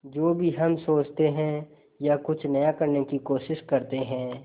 जो भी हम सोचते हैं या कुछ नया करने की कोशिश करते हैं